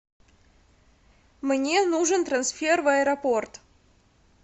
мне нужен трансфер в аэропорт